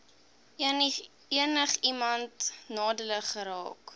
enigiemand nadelig geraak